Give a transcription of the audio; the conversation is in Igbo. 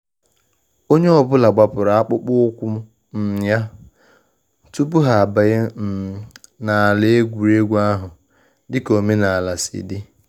Onye ọ bụla gbapụrụ akpụkpọ ụkwụ um ya tupu ha abanye um n’ala egwuregwu ahụ, dịka omenala si di